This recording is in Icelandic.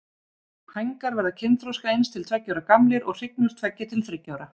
Hængar verða kynþroska eins til tveggja ára gamlir og hrygnur tveggja til þriggja ára.